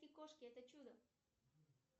кошки это чудо